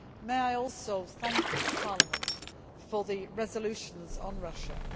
May I also thank Parliament for the resolutions on Russia.